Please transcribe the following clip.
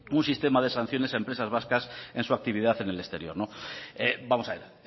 un sistema de sanciones a empresas vascas en su actividad en el exterior vamos a ver